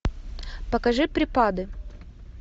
покажи припады